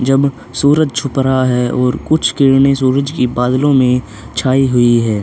जब सूरज हो रहा है और कुछ किरणे सूरज की बादलों में छाई हुई है।